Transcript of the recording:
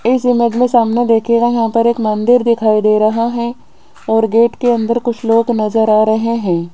इस इमेज मे सामने देखियेगा यहां पर एक मंदिर दिखाई दे रहा है और गेट के अंदर कुछ लोग नजर आ रहे है।